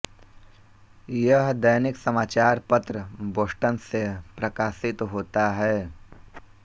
यह दैनिक समाचार पत्र बोस्टन से प्रकाशित होता है